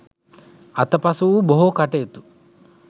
අතපසු වූ බොහෝ කටයුතු